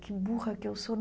Que burra que eu sou!